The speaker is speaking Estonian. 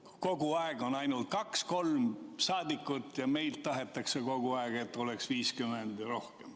Neil on kogu aeg kohal ainult kaks-kolm rahvasaadikut, aga meilt tahetakse kogu aeg, et oleks 50 ja rohkem.